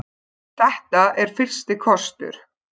Þetta er fyrsti kostur.